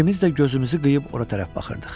İkimiz də gözümüzü qıyıb ora tərəf baxırdıq.